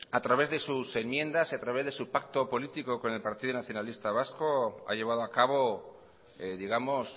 a través de sus enmiendas y a través de su pacto político con el partido nacionalista vasco ha llevado a cabo digamos